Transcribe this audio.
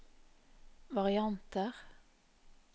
varianter